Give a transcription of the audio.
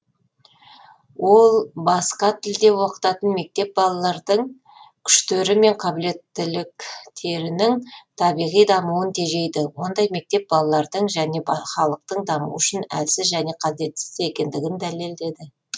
ол басқа тілде оқытатын мектеп балалардың күштері мен қабілеттіліктерінің табиғи дамуын тежейді ондай мектеп балалардың және халықтың дамуы үшін әлсіз және қажетсіз екендігін дәлелдеді